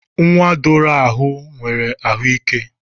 Nwa doro ahu nwere ahu ike.